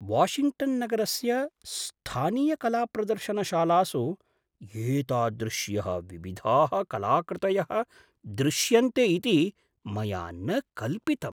Washington नगरस्य स्थानीयकलाप्रदर्शनशालासु एतादृश्यः विविधाः कलाकृतयः दृश्यन्ते इति मया न कल्पितम्।